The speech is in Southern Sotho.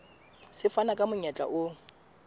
se fana ka monyetla o